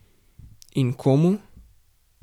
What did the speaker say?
In komu?